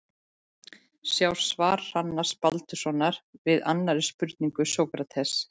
Sjá svar Hrannars Baldurssonar við annarri spurningu um Sókrates.